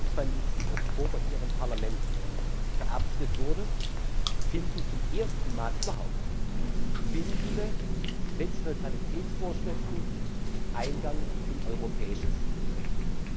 27. Oktober hier im Parlament verabschiedet wurde, finden zum ersten Mal überhaupt bindende Netzneutralitätsvorschriften Eingang in europäisches Recht.